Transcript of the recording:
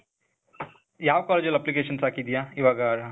ಯಾವ್ ಕಾಲೇಜಲ್ applications ಹಾಕಿದ್ದೀಯ? ಇವಾಗಾ,,